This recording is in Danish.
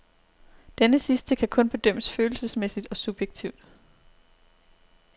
Denne sidste kan kun bedømmes følelsesmæssigt og subjektivt.